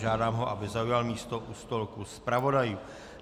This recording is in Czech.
Žádám ho, aby zaujal místo u stolku zpravodajů.